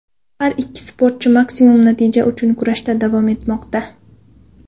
Har ikki sportchi maksimum natija uchun kurashda davom etmoqda.